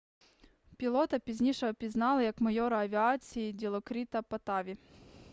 пілота пізніше опізнали як майора авіації ділокріта паттаві